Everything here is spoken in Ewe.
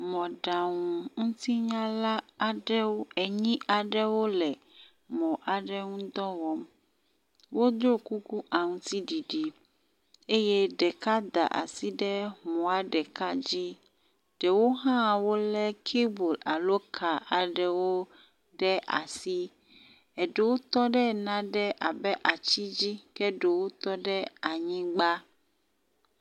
Mɔɖaŋutinyala aɖewo enyi aɖewo le mɔ aɖe ŋu dɔ wɔm. Wo ɖo kuku aŋtiɖiɖi eye ɖeka da asi ɖe mɔa ɖeka dzi. Ɖewo hã wo le kabel alo ka aɖewo ɖe asi eɖewo tɔ ɖe nane abe atsi dzi ke ɖewo tɔ ɖe anyigba.